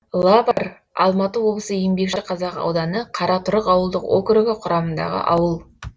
лавар алматы облысы еңбекшіқазақ ауданы қаратұрық ауылдық округі құрамындағы ауыл